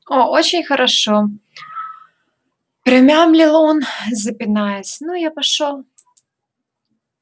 о-очень хорошо промямлил он запинаясь ну я пошёл